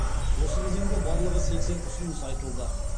осы кезеңде барлығы сексен ұсыныс айтылды